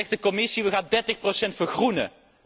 En dan zegt de Commissie we gaan dertig procent vergroenen.